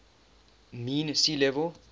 mean sea level